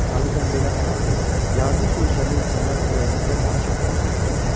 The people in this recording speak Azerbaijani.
Adətən belə adi, yazıq görkəmli insanlar ürəyimizdə daha çox təsir edir.